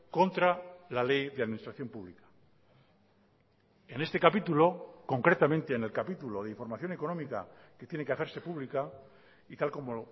contra la ley de administración pública en este capítulo concretamente en el capítulo de información económica que tiene que hacerse pública y tal como